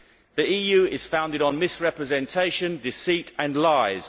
The EU is founded on misrepresentation, deceit and lies.